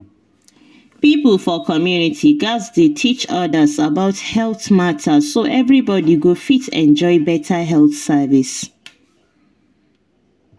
people for community gatz dey teach others about health matter so everybody go fit enjoy better health service.